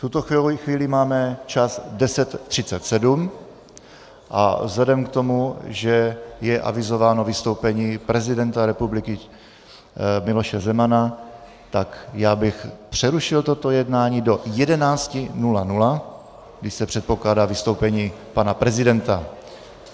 V tuto chvíli máme čas 10.37 a vzhledem k tomu, že je avizováno vystoupení prezidenta republiky Miloše Zemana, tak já bych přerušil toto jednání do 11.00, kdy se předpokládá vystoupení pana prezidenta.